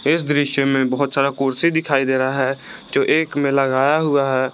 इस दृश्य में बहोत सारा कुर्सी दिखाई दे रहा है जो एक में लगाया हुआ है।